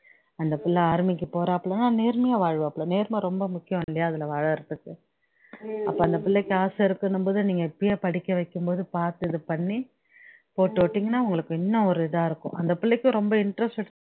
அந்த பிள்ளை army க்கு போராப்லயாம் நேர்மையா வாழ்வாப்ல நேர்ம ரொம்ப முக்கியம் இல்லையா அதுல வாழுறதுக்கு அப்போ அந்த பிள்ளைக்கு ஆசை இருக்குன்னும்போது நீங்க இப்பயே படிக்கவைக்கும்போது பாத்து இதுபண்ணி போட்டு விட்டீங்கன்னா உங்களுக்கு இன்னும் ஒரு இதா இருக்கும் அந்த பிள்ளைக்கும் ரொம்ப interested